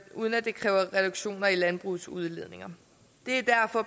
uden at det kræver reduktioner i landbrugets udledninger det er